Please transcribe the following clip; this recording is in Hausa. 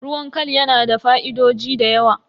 Ruwan khal yana da fa'idoji da yawa.